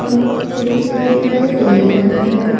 खिड़की दिखाई दे रहा है।